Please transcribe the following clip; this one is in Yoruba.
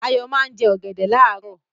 Ayọ̀ máa ń jẹ ọ̀gẹ̀dẹ̀ láàárọ̀.